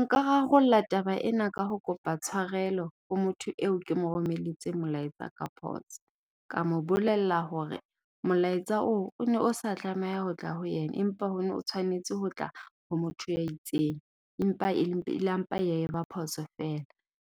Nka rarolla taba ena ka ho kopa tshwarelo ho motho eo ke mo romelletse molaetsa ka phoso. Ka mo bolella hore molaetsa oo one o sa tlameha ho tla ho yena, empa o tshwanetse ho tla ho motho ya e itseng. Empa e le ela mpa ya eba phoso feela.